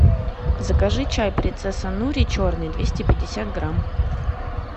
закажи чай принцесса нури черный двести пятьдесят грамм